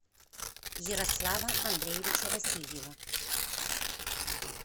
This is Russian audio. ярослава андреевича васильева